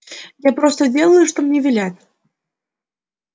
я просто делаю что мне велят